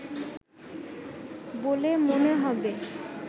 বলে মনে হবে